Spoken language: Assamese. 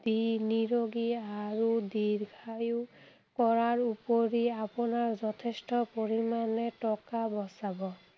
দি নিৰোগী আৰু দীৰ্ঘায়ু কৰাৰ উপৰি আপোনাৰ যথেষ্ট পৰিমাণে টকা বচাব।